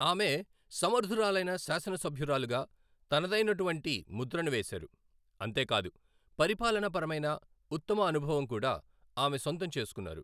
ఆమె సమర్థురాలైన శాసనసభ్యురాలుగా తనదైనటువంటి ముద్రను వేశారు అంతే కాదు, పరిపాలన పరమైన ఉత్తమ అనుభవం కూడా ఆమె సొంతం చేసుకున్నారు.